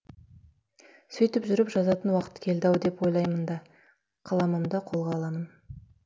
сөйтіп жүріп жазатын уақыт келді ау деп ойлаймын да қаламымды қолға аламын